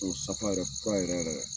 O ye safa yɛrɛ, fura yɛrɛ yɛrɛ ye.